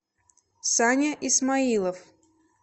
саня исмаилов